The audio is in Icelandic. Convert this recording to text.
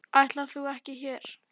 Ætlaðir þú ekki úr hér?